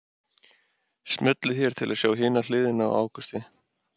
Smellið hér til að sjá hina hliðina á Ágústi